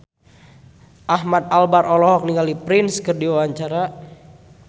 Ahmad Albar olohok ningali Prince keur diwawancara